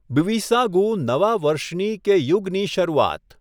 બ્વિસાગુ નવા વર્ષની કે યુગની શરૂઆત .